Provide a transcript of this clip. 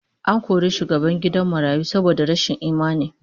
An kori shugaban gidan marayu saboda rashin imani